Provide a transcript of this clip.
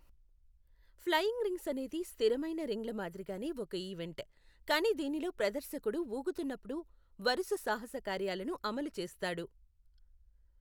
Flying rings అనేది స్థిరమైన రింగ్ల మాదిరిగానే ఒక ఈవెంట్, కానీ దీనిలో ప్రదర్శకుడు ఊగుతునపుడు వరుస సాహసకార్యాలను అమలు చేస్తాడు.